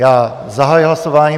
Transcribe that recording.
Já zahajuji hlasování.